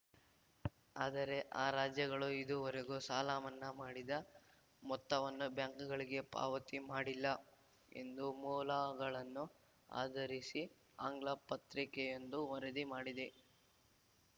ಆದರೆ ಆ ರಾಜ್ಯಗಳು ಇದುವರೆಗೂ ಸಾಲಮನ್ನಾ ಮಾಡಿದ ಮೊತ್ತವನ್ನು ಬ್ಯಾಂಕ್‌ಗಳಿಗೆ ಪಾವತಿ ಮಾಡಿಲ್ಲ ಎಂದು ಮೂಲಗಳನ್ನು ಆಧರಿಸಿ ಆಂಗ್ಲ ಪತ್ರಿಕೆಯೊಂದು ವರದಿ ಮಾಡಿದೆ